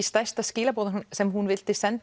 stærstu skilaboðin sem hún vildi senda